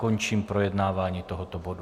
Končím projednávání tohoto bodu.